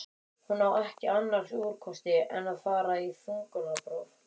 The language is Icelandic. Hún á ekki annars úrkosti en að fara í þungunarpróf.